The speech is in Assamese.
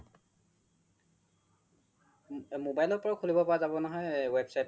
mobile ৰ পৰাও খুলিব পাৰা জাব নহয় website তো